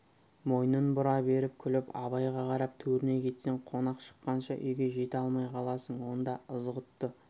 мойнын бұра беріп күліп абайға қарап төріне кетсең қонақ шыққанша үйге жете алмай қаласың онда ызғұтты